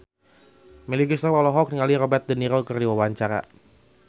Melly Goeslaw olohok ningali Robert de Niro keur diwawancara